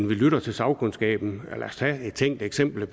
vi lytter til sagkundskaben lad os tage et tænkt eksempel